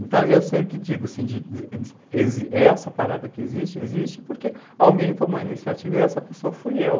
Então, e eu sempre digo assim, de essa parada que existe, existe porque alguém tomou a iniciativa e essa pessoa fui eu.